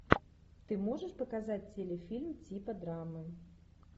ты можешь показать телефильм типа драмы